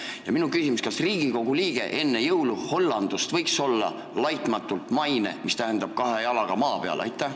Ja teine küsimus ka: kas Riigikogu liige võiks enne jõuluhõllandust olla laitmatult maine ehk siis kahe jalaga maa peal?